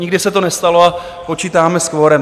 nikdy se to nestalo a počítáme s kvorem.